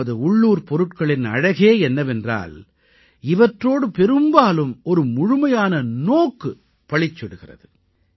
நமது உள்ளூர் பொருட்களின் அழகே என்னவென்றால் இவற்றோடு பெரும்பாலும் ஒரு முழுமையான நோக்கு பளிச்சிடுகிறது